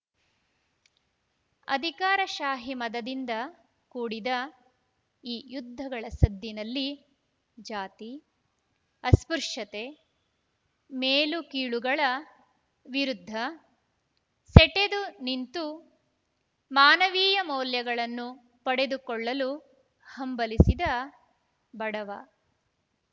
ಅಧಿಕಾರಶಾಹಿ ಮದದಿಂದ ಕೂಡಿದ ಈ ಯುದ್ಧಗಳ ಸದ್ದಿನಲ್ಲಿ ಜಾತಿ ಅಸ್ಪೃಶ್ಯತೆ ಮೇಲು ಕೀಳುಗಳ ವಿರುದ್ಧ ಸೆಟೆದು ನಿಂತು ಮಾನವೀಯ ಮೌಲ್ಯಗಳನ್ನು ಪಡೆದುಕೊಳ್ಳಲು ಹಂಬಲಿಸಿದ ಬಡವ